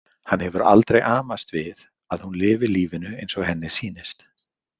Hann hefur aldrei amast við að hún lifi lífinu eins og henni sýnist.